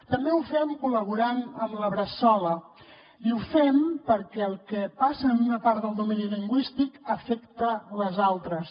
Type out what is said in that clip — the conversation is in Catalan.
també ho fem col·laborant amb la bressola i ho fem perquè el que passa en una part del domini lingüístic afecta les altres